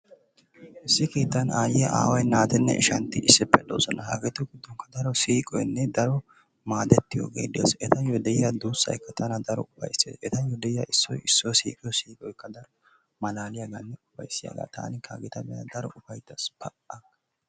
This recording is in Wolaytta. Issi keettan aayyiya, aawaynne ishantti issippe doosona. Hageetu giddonkka daro siiqoynne maadettiyogee dees. Etayyo de'iya duussaykka tana daro ufayssees. Etayyo de'iya issoy issuwa siiqiyo siiqoykka maalaaliyagaanne ufayssiyagaa. Taanikka hageeta be'ada daro ufayttaas. Pa"a!